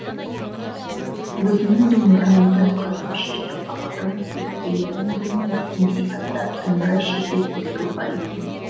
өзінің домбырамды қасып шертіп ақырын деп келетін өлеңіндегідей аздап домбыра шертетіндігі бар екен